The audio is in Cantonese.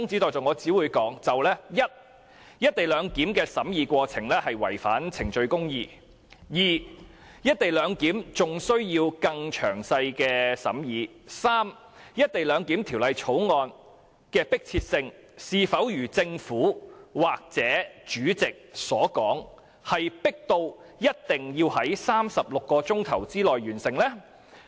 第一，"一地兩檢"的審議過程違反程序公義；第二，"一地兩檢"還需更詳細的審議；及第三，《條例草案》是否如政府或主席所說，十分迫切，一定要在36小時內完成審議？